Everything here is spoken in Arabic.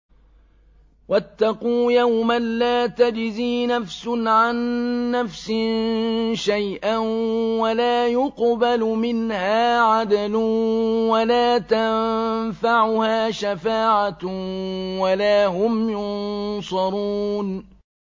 وَاتَّقُوا يَوْمًا لَّا تَجْزِي نَفْسٌ عَن نَّفْسٍ شَيْئًا وَلَا يُقْبَلُ مِنْهَا عَدْلٌ وَلَا تَنفَعُهَا شَفَاعَةٌ وَلَا هُمْ يُنصَرُونَ